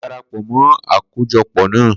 Ko ni darapọ mọ àkójọpọ̀ na